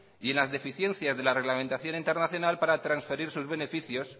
y en las deficiencias de la reglamentación internacional para transferir sus beneficios